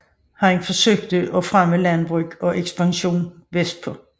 Han søgte at fremme landbrug og ekspansion vestpå